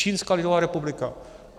Čínská lidová republika.